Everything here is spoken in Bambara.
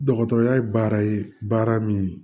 Dɔgɔtɔrɔya ye baara ye baara min ye